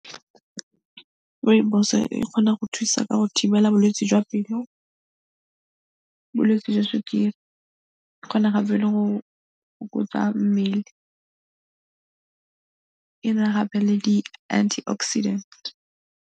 Rooibos e kgona go thusa ka go thibela bolwetse jwa pelo, bolwetsi jwa sukiri, e kgona gape le go fokotsa mmele, e be gape le di-antioxidant.